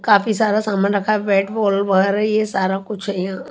काफी सारा सामान रखा है बैट बॉल वर ये सारा कुछ यहां--